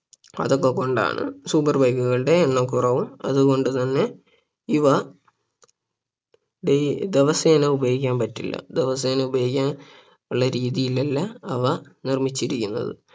അതൊക്കെ കൊണ്ടാണ് super bike കളുടെ എണ്ണം കുറവും അതുകൊണ്ട് തന്നെ ഇവ daily ദിവസേന ഉപയോഗിക്കാൻ പറ്റില്ല ദിവസേന ഉപയോഗിക്കാനുള്ള രീതിയിലല്ല അവ നിർമിച്ചിരിക്കുന്നത്